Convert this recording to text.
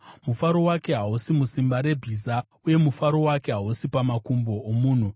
Mufaro wake hausi musimba rebhiza, uye mufaro wake hausi pamakumbo omunhu;